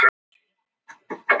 Sú gjöf kom með strandferðaskipinu.